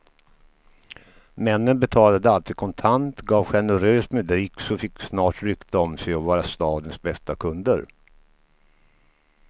Männen betalade alltid kontant, gav generöst med dricks och fick snart rykte om sig att vara stadens bästa kunder.